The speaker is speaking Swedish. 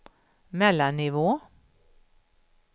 mellannivå